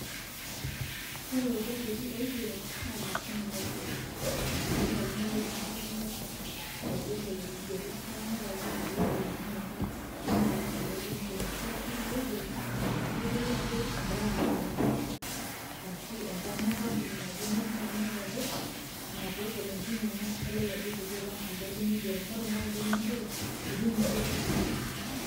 Ore iljacketi oigero naa emashini naiger, kitumia oltung'ani erishata enye aiger lelo kigerot neeku inepu ajo ina peegol enkinyang'a enye alang' kulo lemigero. Ore sii lelo oigero kitodolu ajo brand naje arashu enkarna enkampuni naje, neeku ina piinepu ajo ina peegol enkinyang'a elelo jacketi alang' kuldo lemigero amu ore naa kuldo lemigero meti ninje toki.